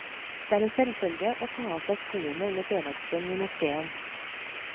Det er en selvfølge å ta av seg skoene under fredagsbønn i moskéen.